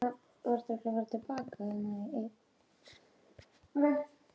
Þetta var merkisdagur í lífi okkar.